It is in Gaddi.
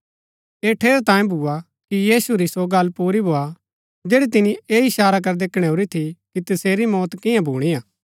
ऐह ठेरैतांये भुआ कि यीशु री सो गल्ल पूरी भोआ जैड़ी तिनी ऐह ईशारा करदै कणैऊरी थी कि तसेरी मौत कियां भूणी हा